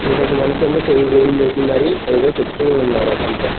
ఇంకొక మనిషేమో చెయ్యి వేలు లేపి మరి ఏదో చెప్తూ ఉన్నారు అతంతో.